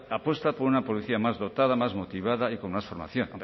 apuesta por una policía más dotada más motivada y con más formación